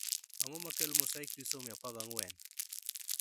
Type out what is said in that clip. Ang'o makelo mosaic trisomy 14